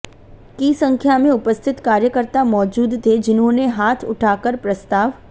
की संख्या में उपस्थित कार्यकर्ता मौजूद थे जिन्होंने हाथ उठाकर प्रस्ताव